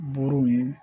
Buruw ye